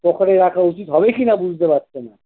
pocket এ রাখা উচিত হবে কি না বুঝতে পারছেন না!